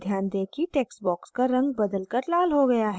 ध्यान दें कि text box का रंग बदलकर लाल हो गया है